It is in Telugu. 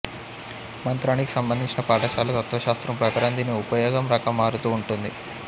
మంత్రానికి సంబంధించిన పాఠశాల తత్వశాస్త్రం ప్రకారం దీని ఉపయోగం రకం మారుతూ ఉంటుంది